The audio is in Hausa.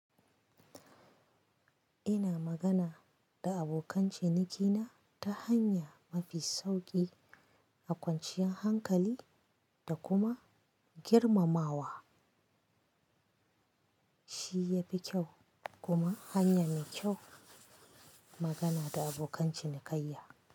Ina magana da abokan cinikina ta hanya mafi sauƙi, a kwanciyar hankali da kuma girmamawa. Shi ya fi kyau kuma hanya mai kyau magana da abokan cinikayya.